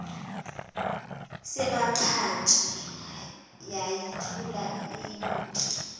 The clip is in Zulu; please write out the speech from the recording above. sebhantshi yayithula iyibuke